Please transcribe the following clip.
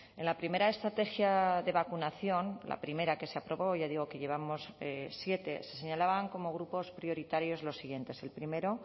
en la primera estrategia de vacunación la primera que se aprobó ya digo que llevamos siete se señalaban como grupos prioritarios los siguientes el primero